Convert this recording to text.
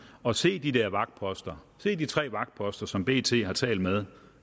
og se de der vagtposter se de tre vagtposter som bt har talt med